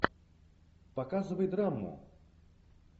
показывай драму